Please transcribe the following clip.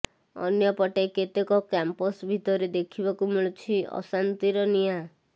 ଅନ୍ୟ ପଟେ କେତେକ କାମ୍ପସ ଭିତରେ ଦେଖିବାକୁ ମିଳୁଛି ଅଶାନ୍ତିର ନିଆଁ